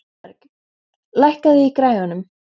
Thorberg, lækkaðu í græjunum.